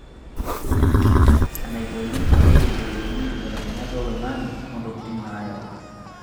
Enaikoni pee eyiolouni nkibelekenyat oloing'ang'e ontokitin naayau.